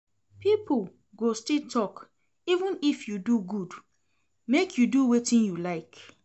Pipo go still tok even if you do good, make you do wetin you like.